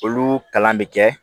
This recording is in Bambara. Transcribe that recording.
Olu kalan bɛ kɛ